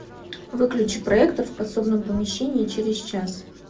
выключи проектор в подсобном помещении через час